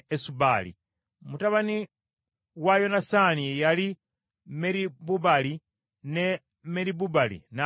Mutabani wa Yonasaani ye yali Meribubaali, ne Meribubaali n’azaala Mikka.